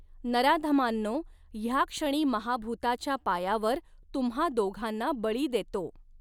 नराधमांनो, ह्याक्षणी महाभूताच्या पायावर तुम्हा दोघांना बळी देतो.